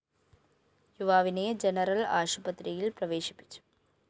യുവാവിനെ ജനറൽ ആശുപത്രിയില്‍ പ്രവേശിപ്പിച്ചു